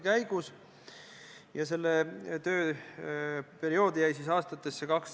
Või kui surma saab reisija Itaaliast, Uus-Meremaalt või USA-st?